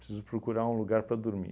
Preciso procurar um lugar para dormir.